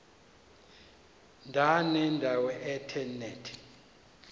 ndanendawo ethe nethe